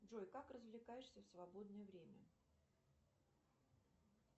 джой как развлекаешься в свободное время